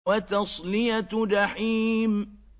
وَتَصْلِيَةُ جَحِيمٍ